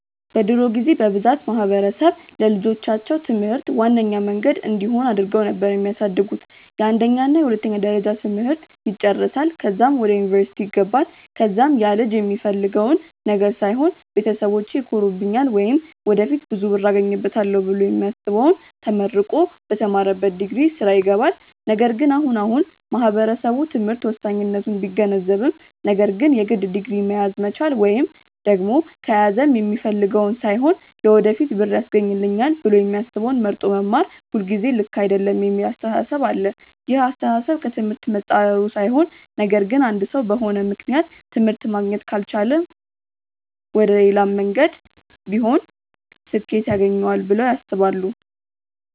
በድሮ ጊዜ በብዛት ማህበረሰብ ለልጆቻቸው ትምህርት ዋነኛ መንገድ እንዲሆን አድርገው ነበር የሚያሳድጉት፤ የአንደኛ እና የሁለተኛ ደረጃ ትምህርት ይጨረሳል ከዛም ወደ ዩኒቨርስቲ ይገባል ከዛም ያልጅ የሚፈልገውን ነገር ሳይሆን ቤተሰቢቼ ይኮሩብኛል ወይም ወደፊት ብዙ ብር አገኝበታለው ብሎ የሚያስበውን ተመርቆ በተማረበት ዲግሪ ስራ ይገባል። ነገር ግን አሁን አሁን ማህበረሰቡ ትምህርት ወሳኝነቱን ቢገነዘብም ነገር ግን የግድ ዲግሪ መያዝ መቻል ወይም ደግም ከያዘም የሚፈልገውን ሳይሆን ለወደፊት ብር ያስገኘኛል ብሎ የሚያስበውን መርጦ መማር ሁልጊዜ ልክ አይደለም የሚል አስተሳሰብ አለ። ይህ አስተሳሰብ ከ ትምህርት መፃረሩ ሳይሆን ነገር ግን አንድ ሰው በሆነ ምክንያት ትምህርት ማግኘት ካልቻለ መሌላም መንገድ ቢሆን ስኬት ያገኘዋል ብለው ያስባሉ።